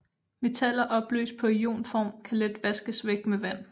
Metaller opløst på ionform kan let vaskes væk med vand